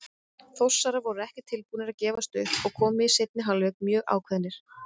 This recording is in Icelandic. Þórsarar voru ekki tilbúnir að gefast upp og komu í seinni hálfleik mjög ákveðnir.